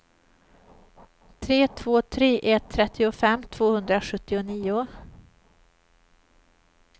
tre två tre ett trettiofem tvåhundrasjuttionio